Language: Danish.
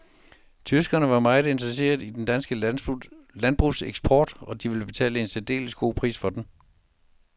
Tyskerne var meget interesseret i dansk landbrugseksport, og de ville betale en særdeles god pris for den.